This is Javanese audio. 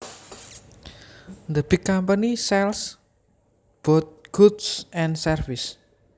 The big company sells both goods and services